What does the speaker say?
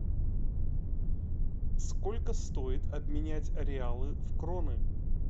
сколько стоит обменять реалы в кроны